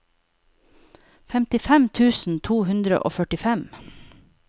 femtifem tusen to hundre og førtifem